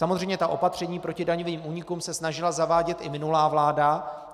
Samozřejmě ta opatření proti daňovým únikům se snažila zavádět i minulá vláda.